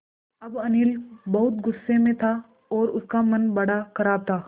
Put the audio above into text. अब अनिल बहुत गु़स्से में था और उसका मन बड़ा ख़राब था